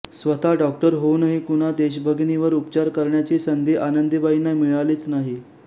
स्वतः डॉक्टर होऊनही कुणा देशभगिनीवर उपचार करण्याची संधी आनंदीबाईंना मिळालीच नाही